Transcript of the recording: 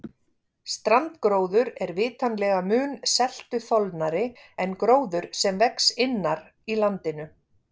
strandgróður er vitanlega mun seltuþolnari en gróður sem vex innar í landinu